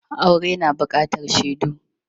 Aure na buƙatar shaidu.